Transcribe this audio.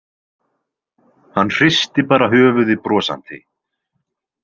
Hann hristi bara höfuðið brosandi.